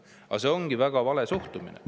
Aga see on väga vale suhtumine.